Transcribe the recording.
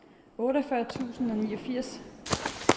otteogfyrre tusind og niogfirs